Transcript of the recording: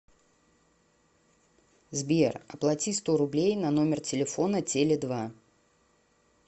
сбер оплати сто рублей на номер телефона теле два